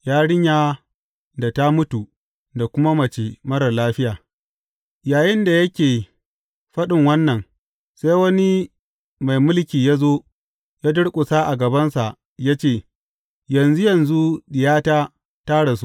Yarinya da ta mutu da kuma mace marar lafiya Yayinda yake faɗin wannan, sai wani mai mulki ya zo ya durƙusa a gabansa ya ce, Yanzu yanzu diyata ta rasu.